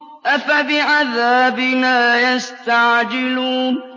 أَفَبِعَذَابِنَا يَسْتَعْجِلُونَ